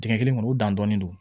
Dingɛ kelen kɔnɔ u dan dɔn don